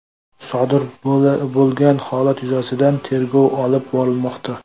Sodir bo‘lgan holat yuzasidan tergov olib borilmoqda.